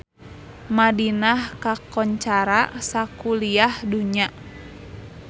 Madinah kakoncara sakuliah dunya